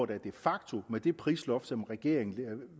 der de facto med det prisloft som regeringen